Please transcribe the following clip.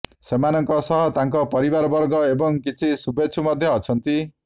ସେମାନଙ୍କ ସହ ତାଙ୍କ ପରିବାରବର୍ଗ ଏବଂ କିଛି ଶୁଭେଚ୍ଛୁ ମଧ୍ୟ ଅଛନ୍ତି